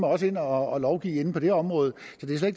også ind og lovgive på det område